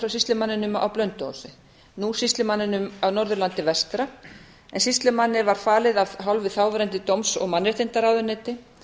frá sýslumanninum á blönduósi nú sýslumanninum á norðurlandi vestra en sýslumanni var falið af hálfu þáverandi dóms og mannréttindaráðuneytis